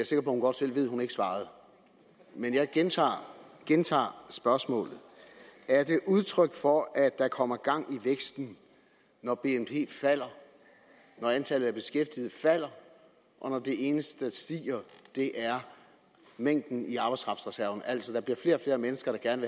sikker på hun godt selv ved at hun ikke svarede men jeg gentager spørgsmålet er det udtryk for at der kommer gang i væksten når bnp falder når antallet af beskæftigede falder og når det eneste der stiger er mængden i arbejdskraftreserven når der altså bliver flere og flere mennesker der gerne